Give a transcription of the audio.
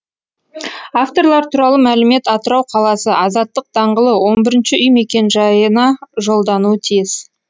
авторлар туралы мәлімет атырау қаласы азаттық даңғылы он бірінші үй мекенжайына жолдануы тиіс